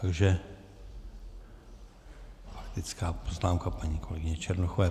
Takže faktická poznámka paní kolegyně Černochové.